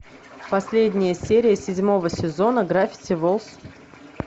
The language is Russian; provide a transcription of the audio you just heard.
последняя серия седьмого сезона гравити фолз